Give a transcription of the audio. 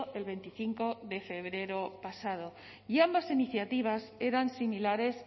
el veinticinco de febrero pasado y ambas iniciativas eran similares